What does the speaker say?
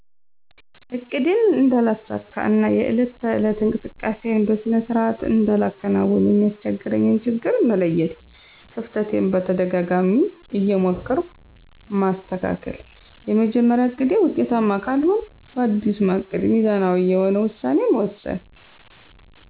እቅዴን እነዳለሳካ እና የዕለት ተዕለት እንቅስቃሴየን በሰነ ስርዓት እንዳላከናውን የሚያሰቸግረኝን ችግር መለየት። ከፍተቴን በተደጋጋማ እየሞከርሁ ማሰተካከል። የመጀመርያው እቅዴ ውጤታማ ካልሆንሁ ባዲስ ማቀድ ሚዛናዊ የሆነ ውሳኔ መወሰን።